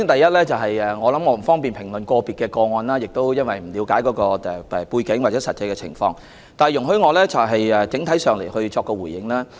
首先，我不方便評論個別個案，我亦不了解相關背景或實際情況，請容許我就此作出整體回應。